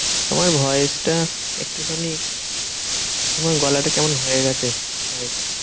তোমার voice টা একটুখানি তোমার গলাটা কেমন হয়ে গেছে। voice এর